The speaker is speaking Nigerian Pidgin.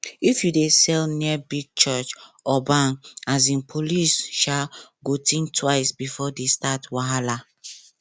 if you dey sell near big church or bank um police um go think twice before they start wahala